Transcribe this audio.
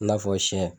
I n'a fɔ siyɛn